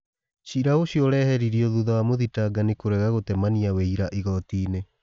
Cira ũcio ũreheririo thuta wa mũthitangani kũrega gũtemania wĩ ira igotinĩ